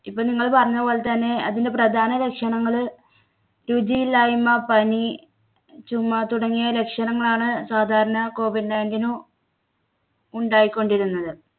ഇപ്പോൾ നിങ്ങൾ പറഞ്ഞ പോലെ തന്നെ അതിൻടെ പ്രധാന ലക്ഷണങ്ങള് രുചിയില്ലായ്മ, പനി, ചുമ തുടങ്ങിയ ലക്ഷണങ്ങളാണ് സാധാരണ COVID nineteen നു ഉണ്ടായിക്കൊണ്ടിരുന്നത്.